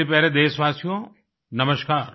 मेरे प्यारे देशवासियो नमस्कार